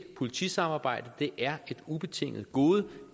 politisamarbejde er et ubetinget gode